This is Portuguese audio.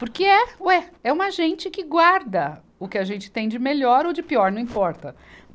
Porque é, ué, é uma gente que guarda o que a gente tem de melhor ou de pior, não importa.